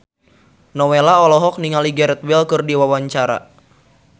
Nowela olohok ningali Gareth Bale keur diwawancara